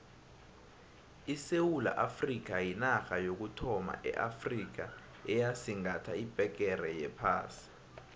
isewula afrikha yinarha yokuthoma eafrikha eyasigatha ibhegere yephasi